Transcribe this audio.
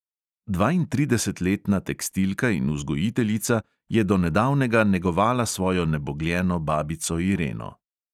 Dvaintridesetletna tekstilka in vzgojiteljica je do nedavnega negovala svojo nebogljeno babico ireno.